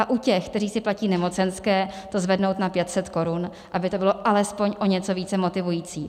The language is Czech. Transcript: A u těch, kteří si platí nemocenské, to zvednout na 500 korun, aby to bylo alespoň o něco více motivující.